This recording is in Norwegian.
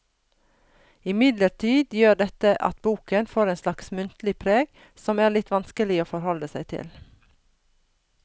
Imidlertid gjør dette at boken får et slags muntlig preg som er litt vanskelig å forholde seg til.